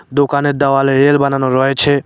দোকানের দেওয়ালে রেল বানানো রয়েছে।